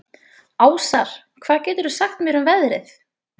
Ásar, hvað geturðu sagt mér um veðrið?